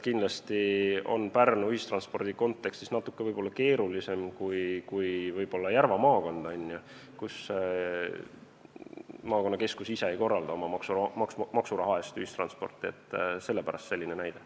Kindlasti on Pärnu ühistranspordi kontekstis natuke keerulisem näide kui näiteks Järva maakond, kus maakonnakeskus ise ei korralda oma maksuraha eest ühistransporti, sellepärast selline näide.